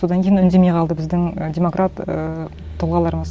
содан кейін үндемей қалды біздің і демократ ііі тұлғаларымыз